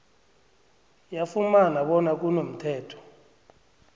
yafumana bona kunomthetho